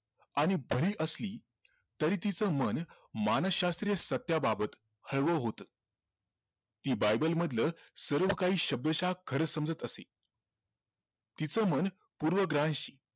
आणि असली तरी तीच मन मानसशास्त्रीय सत्याबाबत हळवं होत ती बायबल मधल सर्वकाही शब्दशः खर समजत असे तीच मन पूर्वग्रहांशी